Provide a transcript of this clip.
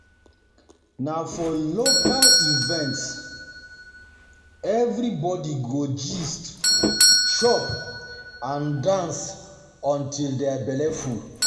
Na for local events for local events everybody go gist, chop, and dance until their belle full.